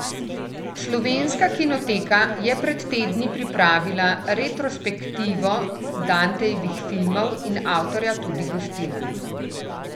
Slovenska kinoteka je pred tedni pripravila retrospektivo Dantejevih filmov in avtorja tudi gostila.